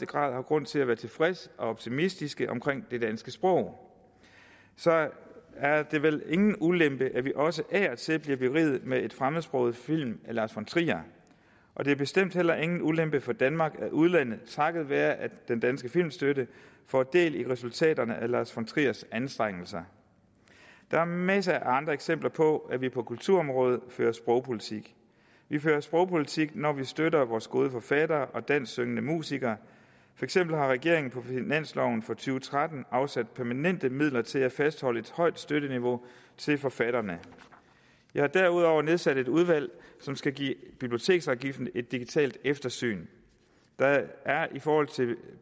grad har grund til at være tilfredse og optimistiske omkring det danske sprog så er det vel ingen ulempe at vi også af og til bliver beriget med en fremmedsproget film af lars von trier og det er bestemt heller ingen ulempe for danmark at udlandet takket være den danske filmstøtte får del i resultaterne af lars von triers anstrengelser der er masser af andre eksempler på at vi på kulturområdet fører sprogpolitik vi fører sprogpolitik når vi støtter vores gode forfattere og dansksyngende musikere for eksempel har regeringen på finansloven for to tusind og tretten afsat permanente midler til at fastholde et højt støtteniveau til forfatterne jeg har derudover nedsat et udvalg som skal give biblioteksafgiften et digitalt eftersyn der er i forhold til